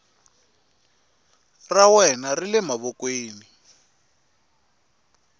ra wena ri le mavokweni